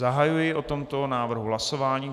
Zahajuji o tomto návrhu hlasování.